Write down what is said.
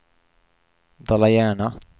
Dala-Järna